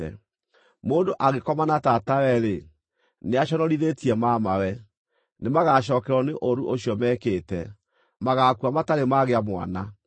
“ ‘Mũndũ angĩkoma na tatawe-rĩ, nĩaconorithĩtie mamawe. Nĩmagacookererwo nĩ ũũru ũcio mekĩte; magaakua matarĩ magĩa mwana.